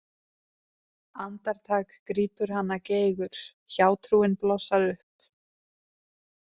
Andartak grípur hana geigur, hjátrúin blossar upp.